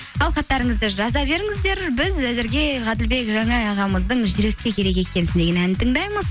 ал хаттарыңызды жаза беріңіздер біз әзірге ғаділбек жанай ағамыздың жүрекке керек екенсің деген әнін тыңдаймыз